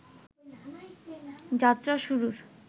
যাত্রা শুরুর